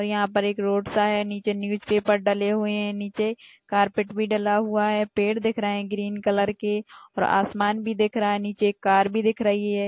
और यहां पर एक रोड सा है नीचे न्यूज़ पेपर डाले हुए है नीचे कारपेट भी डाला हुआ है पेड़ दिख रहा है ग्रीन कलर के और आसमान भी देख रहा है नीचे कार भी दिख रही है।